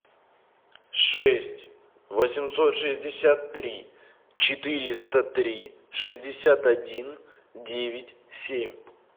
шесть восемьсот шестьдесят три четыреста три шестьдесят один девять семь